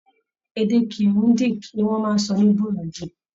Èdè Kirundi Ni wọ́n ń sọ ní Burundi.